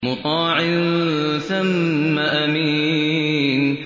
مُّطَاعٍ ثَمَّ أَمِينٍ